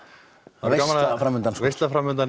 veisla